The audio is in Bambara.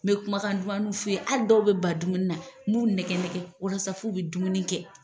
N bɛ kumakan dunmaniw f f'u ye, hali dɔw bɛ ban dumuni na nb'u nɛgɛ nɛgɛ walasa fu bɛ dumuni kɛ.